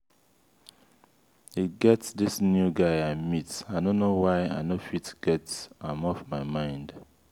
e get dis new guy i meet i no know why i no fit get am off my mind.